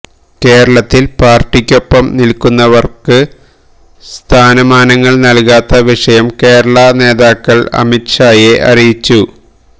കേരളത്തിൽ പാർട്ടിക്കൊപ്പം നിൽക്കുന്നവർക്ക് സ്ഥാനമാനങ്ങൾ നൽകാത്ത വിഷയം കേരളാ നേതാക്കൾ അമിത് ഷായെ അറിയിച്ചിരുന്നു